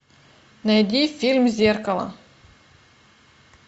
найди фильм зеркало